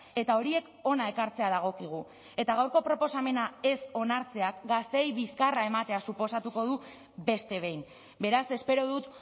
eta horiek hona ekartzea dagokigu eta gaurko proposamena ez onartzeak gazteei bizkarra ematea suposatuko du beste behin beraz espero dut